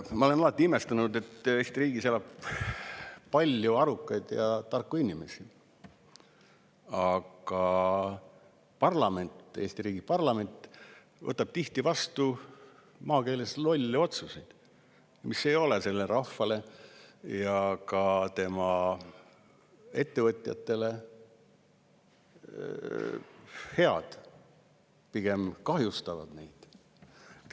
Ma olen alati imestanud, et Eesti riigis elab palju arukaid ja tarku inimesi, aga parlament, Eesti riigi parlament võtab tihti vastu, kui maakeeles öelda, lolle otsuseid, mis ei ole rahvale ja ka ettevõtjatele head, pigem kahjustavad neid.